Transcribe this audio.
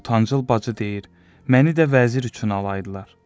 Ortancıl bacı deyir: Məni də vəzir üçün alaydılar.